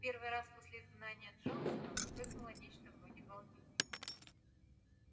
в первый раз после изгнания джонсона вспыхнуло нечто вроде волнения